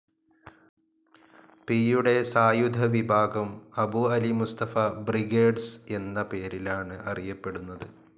പിയുടെ സായുധ വിഭാഗം അബു അലി മുസ്തഫ ബ്രിഗേഡ്സ്‌ എന്ന പേരിലാണ് അറിയപ്പെടുന്നത്.